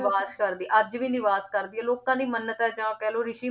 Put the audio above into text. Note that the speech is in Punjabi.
ਨਿਵਾਸ ਕਰਦੀ ਆ, ਅੱਜ ਵੀ ਨਿਵਾਸ ਕਰਦੀ ਆ, ਲੋਕਾਂ ਦੀ ਮੰਨਤ ਹੈ ਜਾਂ ਕਹਿ ਲਓ ਰਿਸ਼ੀ